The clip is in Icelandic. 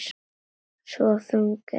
Svo þung er mín þrá.